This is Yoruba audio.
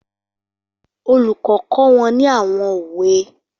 Olùkọ́ kọ́ wọn ní àwọn òwe